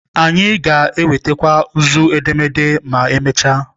Anyị ga-enwetakwu nzu edemede ma emechaa.